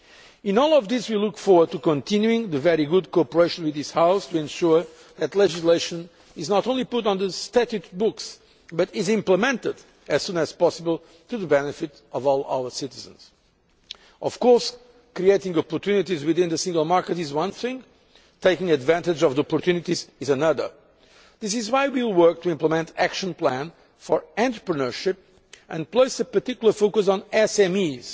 In all of this we look forward to continuing the very good cooperation with this House to ensure that legislation is not only put on the statute books but is implemented as soon as possible to the benefit of all our citizens. Of course, creating opportunities within the single market is one thing, taking advantage of the opportunities is another. This is why we will work to implement the action plan for entrepreneurship and place a particular focus on